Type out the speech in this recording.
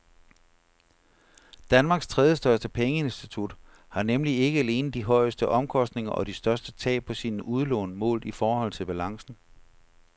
Danmarks tredjestørste pengeinstitut har nemlig ikke alene de højeste omkostninger og de største tab på sine udlån målt i forhold til balancen.